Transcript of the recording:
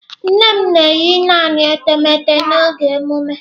Nne m na-eyi naanị etemeete n'oge emume.